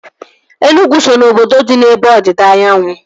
Enugu so ná obodo dị n'ebe ọdịda anyanwụ